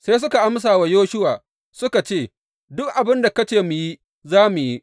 Sai suka amsa wa Yoshuwa suka ce, Duk abin da ka ce mu yi, za mu yi.